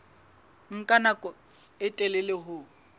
nka nako e telele ho